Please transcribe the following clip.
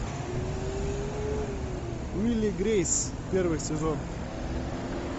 уилл и грейс первый сезон